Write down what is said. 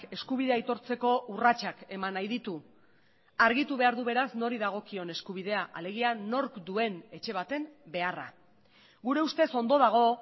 eskubidea aitortzeko urratsak eman nahi ditu argitu behar du beraz nori dagokion eskubidea alegia nork duen etxe baten beharra gure ustez ondo dago